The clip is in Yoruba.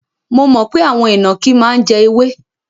Mo mọ̀ pé àwọn ìnàkí máa ń jẹ ewé.